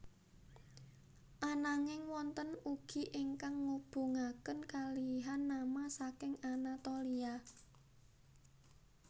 Ananging wonten ugi ingkang ngubungaken kalihan nama saking Anatolia